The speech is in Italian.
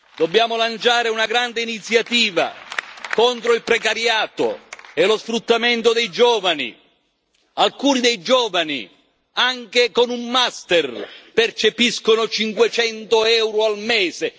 Dobbiamo lanciare una grande iniziativa contro il precariato e lo sfruttamento dei giovani alcuni dei giovani, anche con un master, percepiscono 500 euro al mese!